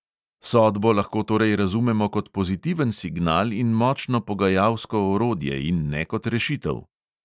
Sodbo lahko torej razumemo kot pozitiven signal in močno pogajalsko orodje, in ne kot rešitev.